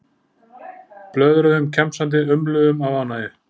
Blöðruðum kjamsandi, umluðum af ánægju.